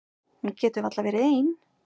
Hún getur varla verið ein.